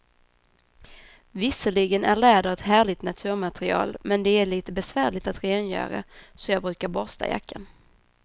Visserligen är läder ett härligt naturmaterial, men det är lite besvärligt att rengöra, så jag brukar borsta jackan.